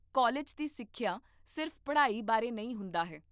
college ਦੀ ਸਿੱਖਿਆ ਸਿਰਫ਼ ਪੜ੍ਹਾਈ ਬਾਰੇ ਨਹੀਂ ਹੁੰਦਾ ਹੈ